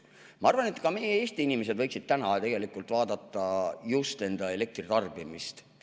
Ma arvan, et ka meie, Eesti inimesed võiksid tegelikult vaadata just enda elektritarbimist.